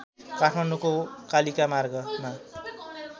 काठमाडौँको कालिका मार्गमा